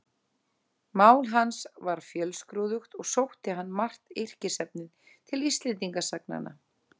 Mál hans var fjölskrúðugt og sótti hann margt yrkisefnið til Íslendingasagnanna.